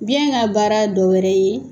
Biyɛn ka baara dɔ wɛrɛ ye